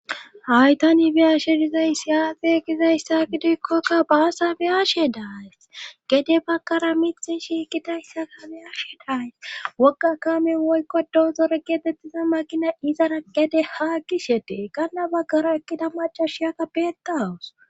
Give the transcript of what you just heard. Haytanibiyashe dizays yaaxe gizayssa gidoykkokka baasa biyashe daas gede baggara miti shiikidayssa kame ashe days wokga kamen woykko doozore geetettiza makina izara gede haa gishetee kanna baggara ekkida macashiyaka beeta awus